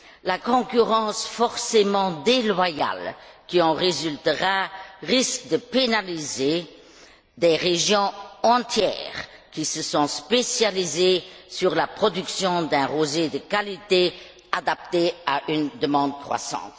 La concurrence forcément déloyale qui en résultera risque de pénaliser des régions entières, qui se sont spécialisées dans la production d'un rosé de qualité, adapté à une demande croissante.